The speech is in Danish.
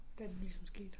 Da det ligesom skete